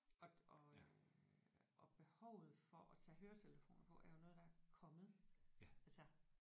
Og og øh og behovet for at tage høretelefoner på er jo noget der er kommet altså